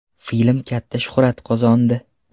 Film katta shuhrat qozondi.